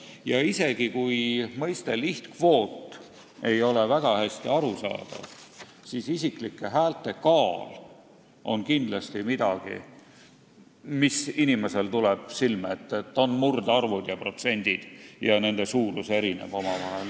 Ja isegi kui mõiste "lihtkvoot" ei ole väga hästi arusaadav, siis isiklike häälte kaal on kindlasti midagi, mis tuleb inimesele silme ette – et on murdarvud ja protsendid ning nende suurus erineb omavahel.